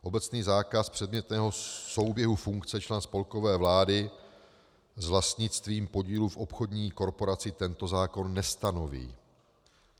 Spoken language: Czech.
Obecný zákaz předmětného souběhu funkce člena spolkové vlády s vlastnictvím podílu v obchodní korporaci tento zákon nestanoví.